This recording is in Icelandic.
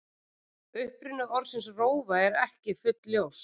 Uppruni orðsins rófa er ekki fullljós.